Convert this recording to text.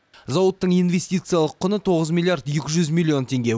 зауыттың инвестициялық құны тоғыз миллиард екі жүз миллион теңге